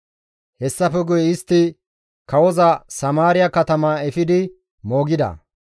Hessafe guye istti kawoza Samaariya katama efidi moogida.